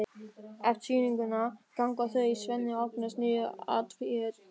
Eftir sýninguna ganga þau Svenni og Agnes niður að Tjörn.